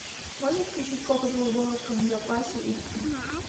можешь включить копы в глубоком запасе эйч ди